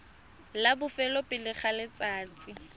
la bofelo pele ga letsatsi